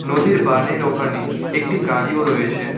নদীর বানের ওখানে একটি গাড়িও রয়েছে।